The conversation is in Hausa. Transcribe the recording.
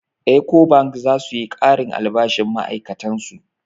Ecobank za su yi ƙarin albashin ma'ai'katan su.